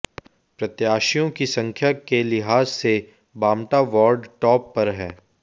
प्रत्याशियों की संख्या के लिहाज से बामटा वार्ड टॉप पर है